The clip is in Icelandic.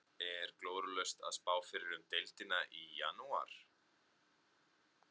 Er glórulaust að spá fyrir um deildina í janúar?